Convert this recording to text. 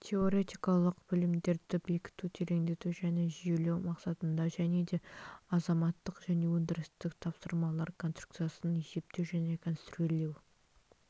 теоретикалық білімдерді бекіту тереңдету және жүйелеу мақсатында және де азаматтық және өндірістік тапсырмалар конструкциясын есептеу және конструирлеу